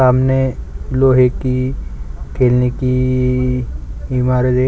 सामने लोहे की खेलने की इमारते--